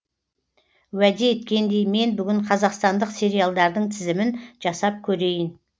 уәде еткендей мен бүгін қазақстандық сериалдардың тізімін жасап көрейін